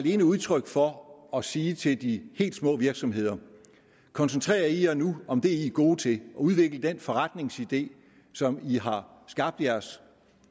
et udtryk for at sige til de helt små virksomheder koncentrer jer nu om det i er gode til udvikl den forretningsidé som i har skabt jeres